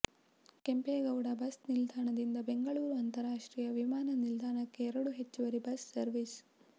Kempegowda bus ನಿಲ್ದಾಣದಿಂದ ಬೆಂಗಳೂರು ಅಂತರಾಷ್ಟ್ರೀಯ ವಿಮಾನ ನಿಲ್ದಾಣಕ್ಕೆ ಎರಡು ಹೆಚ್ಚುವರಿ ಬಸ್ ಸರ್ವೀಸ್